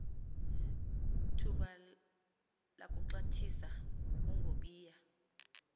thuba lakuxhathisa ungobiya